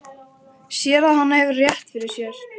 Sér að hann hefur rétt fyrir sér.